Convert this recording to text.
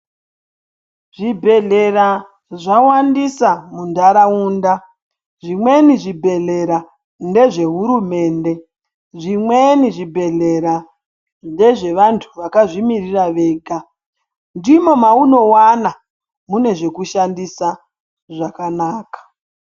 Zvibhehlera zvawandisa mundaraunda zvimweni zvibhehlera ndezve hurumende zvimweni zvibhehlera ndezve munhu wakazvimiririra ndimo maunowana munezvekushandisa zvakanaka.